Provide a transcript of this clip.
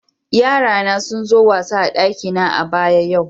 Yara na sun zo wasa a'dakina a'baya yau.